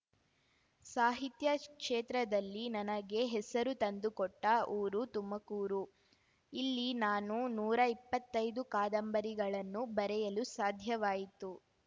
ಸಾಹಿತ್ಯ ಕ್ಷೇತ್ರದಲ್ಲಿ ನನಗೆ ಹೆಸರು ತಂದುಕೊಟ್ಟ ಊರು ತುಮಕೂರು ಇಲ್ಲಿ ನಾನು ನೂರಾ ಇಪ್ಪತ್ತೈದು ಕಾದಂಬರಿಗಳನ್ನು ಬರೆಯಲು ಸಾಧ್ಯವಾಯಿತು